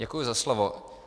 Děkuji za slovo.